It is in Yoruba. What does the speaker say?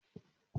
Mo ma jẹ gírèrù.